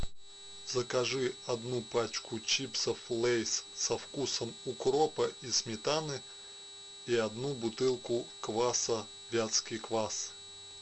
закажи одну пачку чипсов лейс со вкусом укропа и сметаны и одну бутылку кваса вятский квас